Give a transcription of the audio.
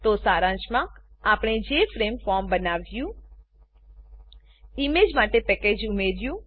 તો સારાંશમાં આપણે જેએફઆરએમઈ જેફ્રેમ ફોર્મ બનાવ્યું ઈમેજ માટે પેકેજ ઉમેર્યું